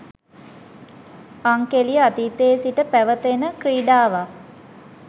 අංකෙළිය අතීතයේ සිට පැවත එන කී්‍රඩාවක්